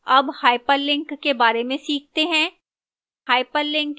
अब hyperlink के बारे में सीखते हैं